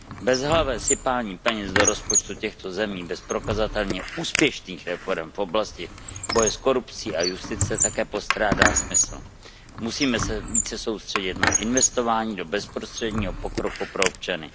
Bezhlavé sypání peněz do rozpočtu těchto zemí bez prokazatelně úspěšných reforem v oblasti boje s korupcí a justice také postrádá smysl. Musíme se více soustředit na investování do bezprostředního pokroku pro občany.